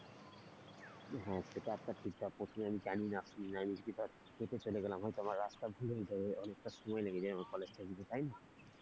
হম সেটা একটা ঠিক কথা প্রথমে আমি জানিনা আমি ধর বেশি চলে গেলাম হয়তো আমার রাস্তা ভুল হয়ে যেতে অনেকটা সময় লেগে যায় আমার college টা যেতে তাই না?